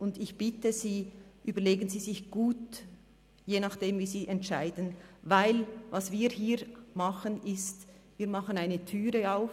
Und ich bitte Sie, überlegen Sie sich gut, wie Sie entscheiden, denn je nach dem machen wir eine Türe auf: